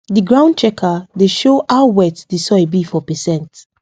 the ground checker dey show how wet the soil be for percent